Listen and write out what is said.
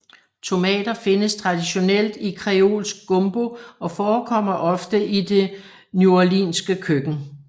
Tomater findes traditionelt i kreolsk gumbo og forekommer ofte i det neworleanske køkken